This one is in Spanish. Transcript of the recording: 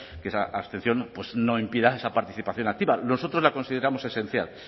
que esa abstención pues no impida esa participación activa nosotros la consideramos esencial